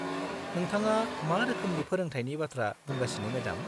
नोंथाङा मा रोखोमनि फोरोंथायनि बाथ्रा बुंगासिनो, मेडाम?